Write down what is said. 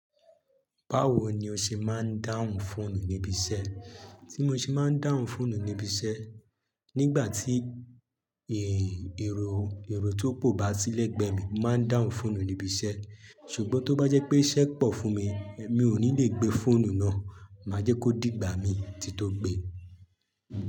Báwo ni o ṣe máa ń dáhùn fóònù níbi iṣẹ́? Tí mo ṣe máa ń dáhùn fóònù níbi iṣẹ́, nígbà tí, e, èrò, èrò tó pọ o bá sí lẹgbẹ mi, mo máa ń dáhùn fóònù níbi iṣẹ́. Ṣùgbọ́n tó bá jẹ́ pé iṣẹ́ pọ̀ fún mi, mi ò ní le gbé fóònù náà, máa jẹ́ kó dìgbà mií tí tó gbe.